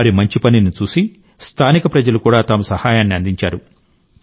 వారి మంచి పనిని చూసి స్థానిక ప్రజలు కూడా తమ సహాయాన్ని అందించారు